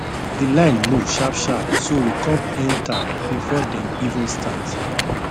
the line move sharp sharp so we come enter before dem even start